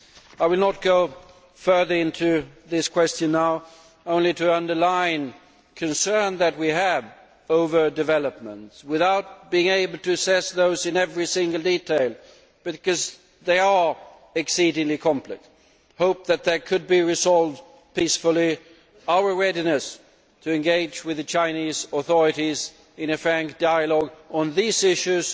I will not go further into this question now, but wish only to underline the concern that we have over developments, without being able to assess those in every single detail because they are exceedingly complex, our hope that they could be resolved peacefully and our readiness to engage with the Chinese authorities in a frank dialogue on these issues,